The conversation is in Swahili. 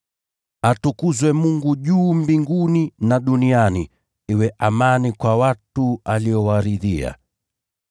“Atukuzwe Mungu juu mbinguni, na duniani iwe amani kwa watu aliowaridhia.”